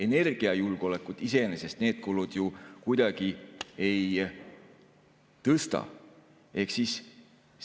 Energiajulgeolekut iseenesest need kulud ju kuidagi ei.